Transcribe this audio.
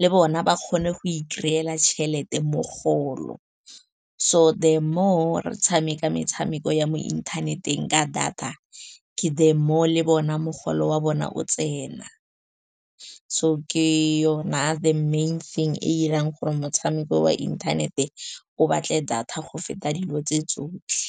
le bona ba kgone go ikry-ela tšhelete, mogolo. So the more re tshameka metshameko ya mo inthaneteng ka data, ke the more le bona mogolo wa bona o tsena. So ke yona the main thing e 'irang gore motshameko wa inthanete o batle data go feta dilo tse tsotlhe.